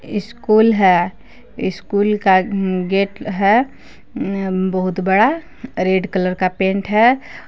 School है school का gate है बहुत बड़ा रेड कलर का पेंट है।